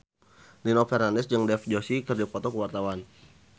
Nino Fernandez jeung Dev Joshi keur dipoto ku wartawan